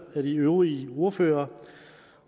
af de øvrige ordførere